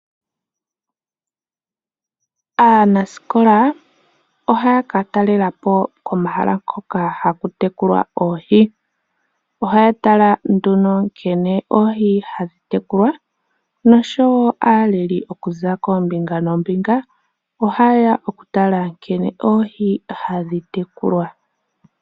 Aanasikola ohaya ka talela po komahala hoka haku tekulwa oohi. Ohaya tala nduno nkene oohi hadhi tekulwa noshowo aaleli okuza koombibga noombinga ohaye ya oku tala nkene oohi hadhi tekulwa.